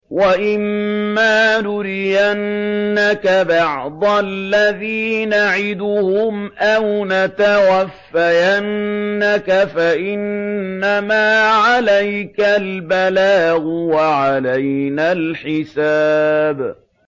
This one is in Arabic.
وَإِن مَّا نُرِيَنَّكَ بَعْضَ الَّذِي نَعِدُهُمْ أَوْ نَتَوَفَّيَنَّكَ فَإِنَّمَا عَلَيْكَ الْبَلَاغُ وَعَلَيْنَا الْحِسَابُ